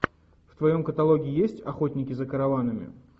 в твоем каталоге есть охотники за караванами